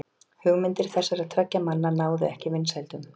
Hugmyndir þessara tveggja manna náðu ekki vinsældum.